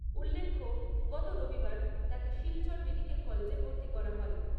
উল্লেখ্য গত রবিবার তাঁকে শিলচর মেডিকেল কলেজে ভর্তি করা হয়।